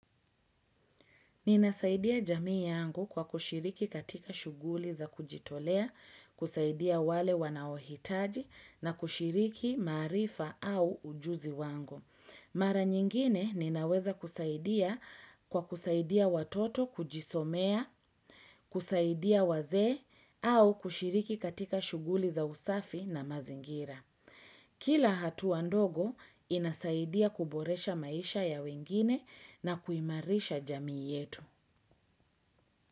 Ninasaidia jamii yangu kwa kushiriki katika shuguli za kujitolea, kusaidia wale wanaohitaji na kushiriki maarifa au ujuzi wangu. Mara nyingine ninaweza kusaidia kwa kusaidia watoto kujisomea, kusaidia waze au kushiriki katika shuguli za usafi na mazingira. Kila hatu wandogo inasaidia kuboresha maisha ya wengine na kuimarisha jamii yetu.